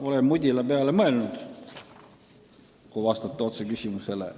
Olen mudila peale mõelnud, kui vastata otse küsimusele.